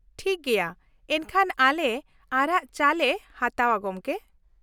ᱴᱷᱤᱠ ᱜᱮᱭᱟ, ᱮᱱᱠᱷᱟᱱ ᱟᱞᱮ ᱟᱨᱟᱜ ᱪᱟ ᱞᱮ ᱦᱟᱛᱟᱣᱼᱟ, ᱜᱚᱝᱠᱮ᱾